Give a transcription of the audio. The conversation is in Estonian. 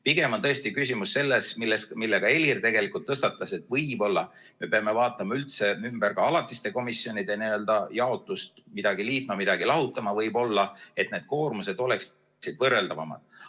Pigem on tõesti küsimus selles, mille ka Helir tõstatas, et võib-olla me peame vaatama üldse läbi ka alatiste komisjonide jaotuse, midagi liitma, midagi lahutama võib-olla, et need koormused oleksid võrreldavamad.